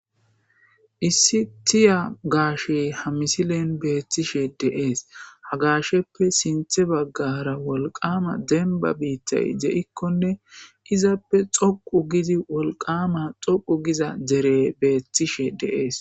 Issi tiya gashe ha misilen betishe de'es ha gasheppe sintha bagara wolqama demba bittay de'ikone izappe dhoqu gidi wolqama dhoqu giza derey betishe de'es